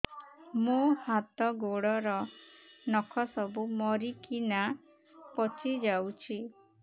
ମୋ ହାତ ଗୋଡର ନଖ ସବୁ ମରିକିନା ପଚି ଯାଉଛି